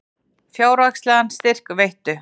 Fjárhagslegan styrk veittu